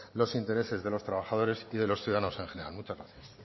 los intereses de los trabajadores y de los ciudadanos en general muchas gracias